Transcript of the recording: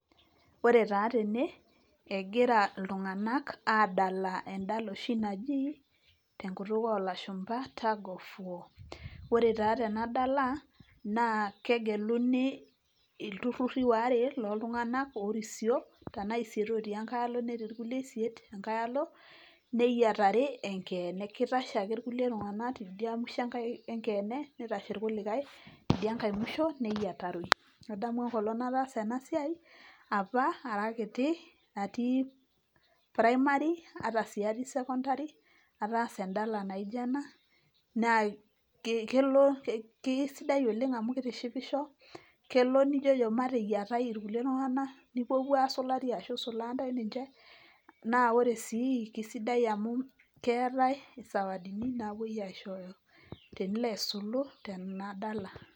Ore taa tene egira iltunganak adala endala oshi naji tunkutuk oo lashumba tagfoe. Ore taa tena dala naa kegeluni ilnturiri waare loo tungunak oo risioro tena isiet otii engae alo nitii isiet enkae alo neyiatari enkeene. Keitashe ake iltunganak teidia mwisho enkeene neitashe kulikae teidia ngae mwisho neyiataroi. Adamu apa enkata nataasa ena siai apa ara kiti atii primari ata sii atii sekondari ataasa endala naijo ena naa kesidai oleng' amu keteishipisho kelo nijojo mateyiatai kulie tunganak nipuopuo aasulari ashuu isulaa intae ninje. Naa ore sii kaisidai amu keetai isawadini naapoi aishooyo tenilo aisulu tena dala.